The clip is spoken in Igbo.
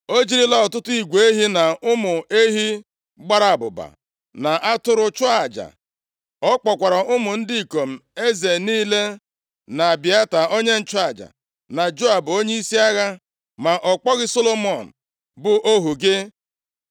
O jirila ọtụtụ igwe ehi na ụmụ ehi gbara abụba, na atụrụ chụọ aja. Ọ kpọkwara ụmụ ndị ikom eze niile na Abịata onye nchụaja, na Joab onyeisi agha. Ma ọ kpọghị Solomọn bụ ohu gị.